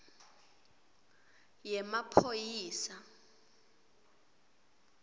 yemaphoyisa